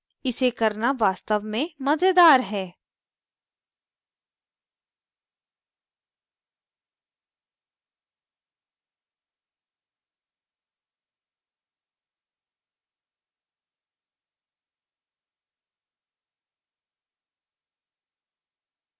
इसे करना वास्तव में मजेदार है